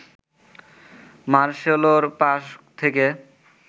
মার্সেলোর pass থেকে